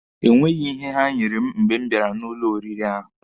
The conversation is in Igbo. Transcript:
Enweghị ihe ha nyere m mgbe m bịara n'ụlọ oriri ahụ.